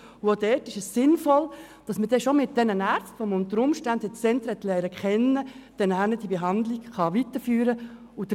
Auch dort ist es sinnvoll, dass man die Behandlung mit jenen Ärzten, die man unter Umständen schon im Zentrum kennenlernen konnte, weiterführen kann.